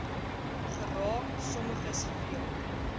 geraak sommiges veel